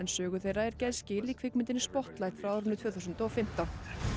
sögu þeirra gerð skil í kvikmyndinni spotlight frá árinu tvö þúsund og fimmtán